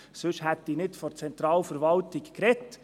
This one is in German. Sonst hätte ich nicht von Zentralverwaltung gesprochen.